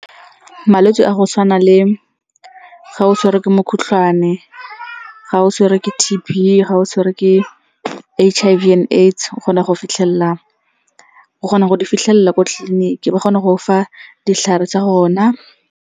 Malwetse a go tshwana le ga o tshwere ke mokgohlane, ga o tshwere ke T_B, ga o tshwerwe ke H_I_V and AIDS. O kgona go di fitlhelela ko tleliniking, ba kgona go go fa ditlhare tsa gona.